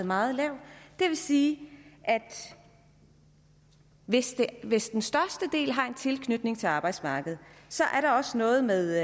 meget lav det vil sige at hvis hvis den største del har en tilknytning til arbejdsmarkedet er der også noget med